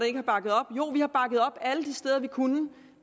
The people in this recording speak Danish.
ikke har bakket op jo vi har bakket op alle de steder vi kunne